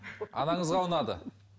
анаңызға ұнады